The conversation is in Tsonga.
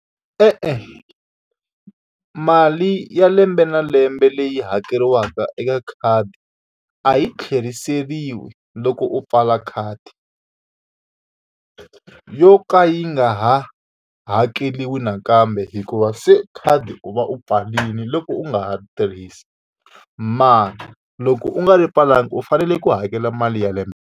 E-e mali ya lembe na lembe leyi hakeriwaka eka khadi, a yi tlheriseriwi loko u pfala khadi yo ka yi nga ha hakeriwi nakambe hikuva se khadi u va u pfarile loko u nga ha ri tirhisi. Mara loko u nga ri pfalanga u fanele ku hakela mali ya lembe.